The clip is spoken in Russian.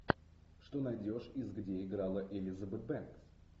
что найдешь из где играла элизабет бэнкс